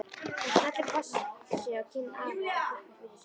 Hún smellir kossi á kinn afa og þakkar fyrir sig.